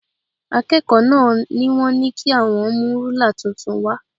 Akẹ́kọ̀ọ́ náà ni wọ́n ní kí àwọn mú rúlà tuntun wá